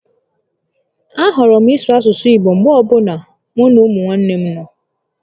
A hụrụ m ịsụ asụsụ Igbo mgbe ọbụla mụ na umunne m nọ